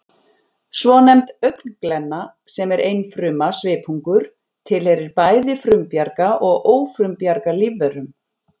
Svonefnd augnglenna, sem er einfruma svipungur, tilheyrir bæði frumbjarga og ófrumbjarga lífverum